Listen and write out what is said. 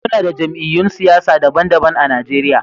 Muna da jamiyy'un siyasa daban-daban a Najeriya